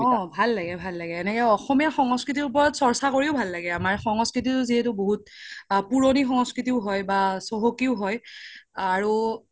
অ ভাল লাগে ভাল লাগে এনেকে অসমীয়া সংস্কৃতিৰ ওপৰত চৰচা কৰিও ভাল লাগে আমাৰ সংস্কৃতিতো যিহেতো বহুত পুৰোনি সংস্কৃতিও হয় বা চহকিও হয় আৰু